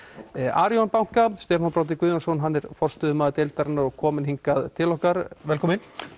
Arion banka Stefán Broddi Guðjónsson forstöðumaður deildarinnar er kominn hingað til okkar velkominn